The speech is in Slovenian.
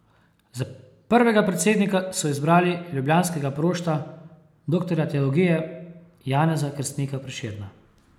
Za prvega predsednika so izbrali ljubljanskega prošta, doktorja teologije Janeza Krstnika Prešerna.